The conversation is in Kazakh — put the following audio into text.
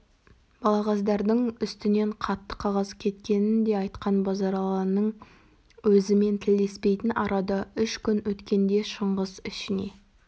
балағаздардың үстінен қатты қағаз кеткенін де айтқан базаралының өзімен тілдеспейтін арада үш күн өткенде шыңғыс ішіне